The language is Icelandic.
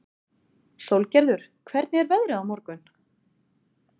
Sólgerður, hvernig er veðrið á morgun?